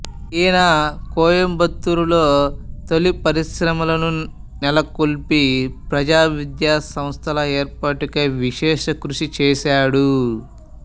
ఈయన కోయంబత్తూరులో తొలి పరిశ్రమలను నెలకొల్పి ప్రజా విద్యాసంస్థల ఏర్పాటుకై విశేషకృషి చేశాడు